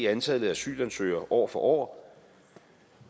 antallet af asylansøgere år for år